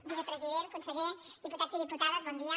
vicepresident conseller diputats i diputades bon dia